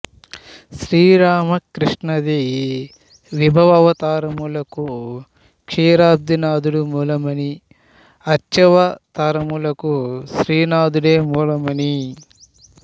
శ్రీరామకృష్ణాది విభవావతారములకు క్షీరాబ్ది నాధుడు మూలమని అర్చావతారములకు శ్రీరంగనాథుడే మూలమని